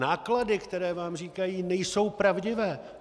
Náklady, které vám říkají, nejsou pravdivé.